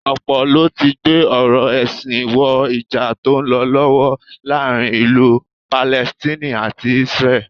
Ọ̀pọ̀ ló ti gbé ọ̀rọ̀ ẹ̀sìn wọ Ìjà tó ń lọ lọ́wọ́ láàárín ìlú Palestine àti Isreal